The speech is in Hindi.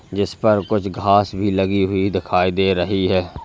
जिसपर कुछ घास भी लगी हुई दिखाई दे रही है।